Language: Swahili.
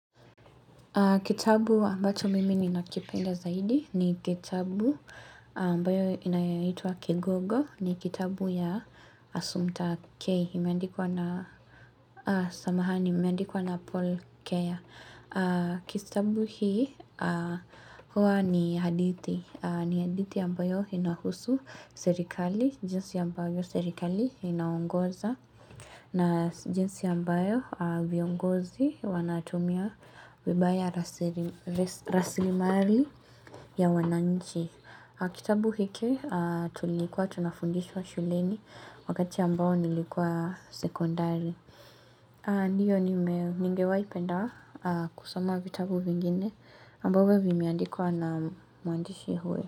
Kitabu ambacho mimi ni nakipenda zaidi ni kitabu ambayo inayaitwa Kigogo ni kitabu ya Asumta K. Samahani imeandikwa na Paul Keya. Kitabu hii huwa ni hadithi. Ni hadithi ambayo inahusu serikali, jinsi ambayo serikali inaongoza. Na jinsi ambayo viongozi wanatumia vibaya rasilimari ya wananchi. Kitabu hiki tulikuwa tunafundishwa shuleni wakati ambao nilikuwa sekondari. Ndiyo nimewainingewa ipenda kusoma vitabu vingine ambavyo vimeandikwa na muandishi huyo.